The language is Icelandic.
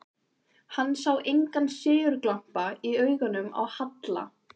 Hann sá engan sigurglampa í augunum á Halla.